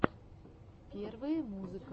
первые музыка